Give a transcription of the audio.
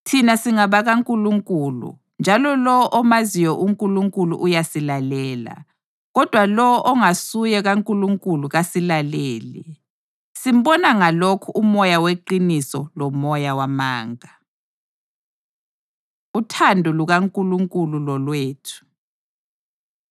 Thina singabakaNkulunkulu njalo lowo omaziyo uNkulunkulu uyasilalela, kodwa lowo ongasuye kaNkulunkulu kasilaleli. Simbona ngalokhu uMoya weqiniso lomoya wamanga. Uthando LukaNkulunkulu Lolwethu